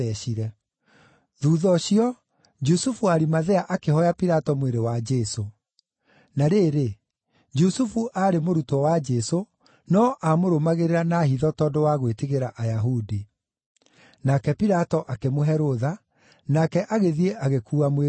Thuutha ũcio, Jusufu wa Arimathea akĩhooya Pilato mwĩrĩ wa Jesũ. Na rĩrĩ, Jusufu aarĩ mũrutwo wa Jesũ, no amũrũmagĩrĩra na hitho tondũ wa gwĩtigĩra Ayahudi. Nake Pilato akĩmũhe rũtha, nake agĩthiĩ agĩkuua mwĩrĩ ũcio.